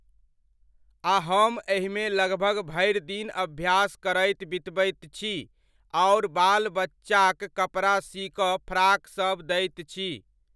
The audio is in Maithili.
आ हम एहिमे लगभग भरि दिन अभ्यास करैत बितबैत छी आओर बाल बच्चाक कपड़ा सी कऽ फ्राक सब दैत छी।